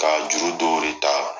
Ka juru dɔni ta